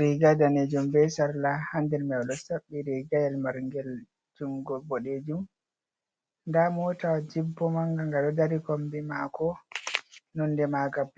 riga danejum be sarla ha nder ɗo saɓɓi riga yel marngel jungo boɗejum nda mota jip bo manga nga ɗo dari kombi mako nonde manga blu.